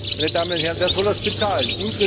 Nun, meine Damen und Herren, wer soll das bezahlen?